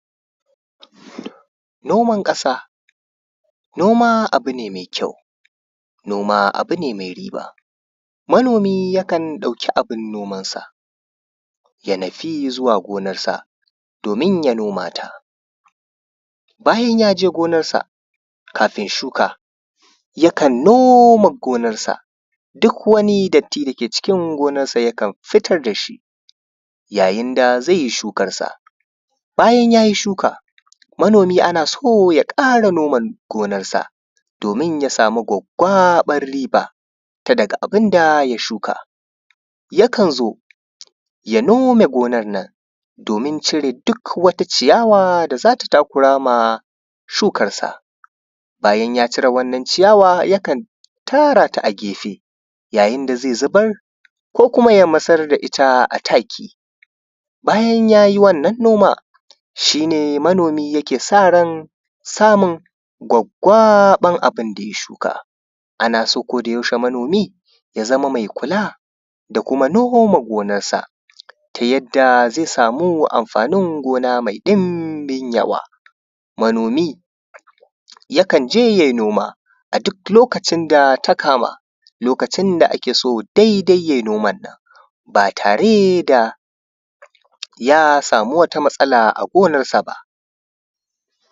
noman ƙasa noma abu ne mai kyau noma abu ne mai riba manomi yakan ɗauki abun neman saya nufi zuwa gonan sa domin ya noma ta bayan yaje gonar sa kafin shuka yakan noma gonar sa duk wani datti da ke cikin gonar sa yakan fitar dashi yayin da zai yi shukar sa bayan yayi shuka manomi ana so ya ƙara nome gonar sa domin ya samu gwaggwaɓar riba ta daga abun da ya shuka yakan zo ya nome gonar nan domin cire duk wata ciyawa da zata takurama shukar sa bayan ya cire wannan ciyawa yakan tara ta a gefe yayin da zai zubar ko kuma yamatsar da ita a take bayan yayi wannan noman shi ne manomi yake sa ran samun gwaggwaɓar abun da ya shuka ana so koda yaushe manomi ya zama mai kula da kuma noho ma gonarsa ta yadda zai samu amfanin gona mai ɗumbin yawa manomi yakan je yayi noma a duk lokacin da ta kama lokacin da ake so daidai ya yi noman nan ba tare da ya samu wata matsala a gonar sa ba